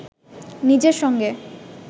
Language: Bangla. নিজের সঙ্গে